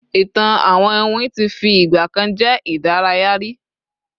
ìtàn àwọn iwin ti fi igbakan je idaraya ri